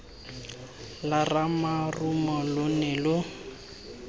lwa ramarumo lo ne lo